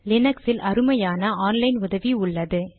லினக்ஸில் அருமையான online உதவி உள்ளது